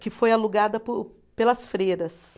que foi alugada por pelas freiras.